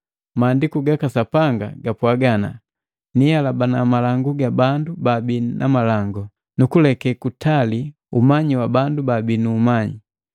Maandiku gaka Sapanga gapwaga ana, “Nihalabana malangu gabu babii na malangu, nukuleke kutali umanyi wa bandu babi nu umanyi.”